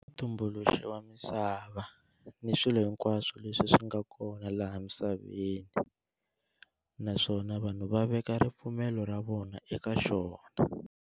Mutumbuluxi wa misava ni swilo hinkwaswo leswi swinga kona la misaveni, naswona vanhu va veka ripfumelo ra vona eka xona.